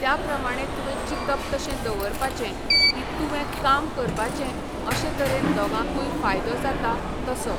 त्या प्रमाणें तुवें चितप तशें दवरपाचें, की तुवें काम करपाचें अशे तरेन दोगांकूय फायदो जाता तसो.